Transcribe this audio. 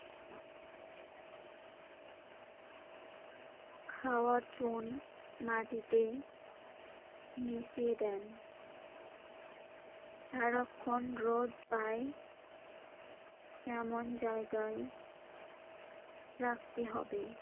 খাওয়ার চুন মাটিতে মিশিয়ে দেন। সারাক্ষণ রোদ পায় এমন জায়গায় রাখতে হবে।